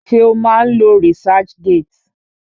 Ṣé o má ń lo researchgate?